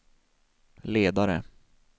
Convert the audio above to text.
ledare